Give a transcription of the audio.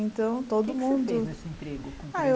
Então, todo mundo... O que você fez nesse emprego? Ah eu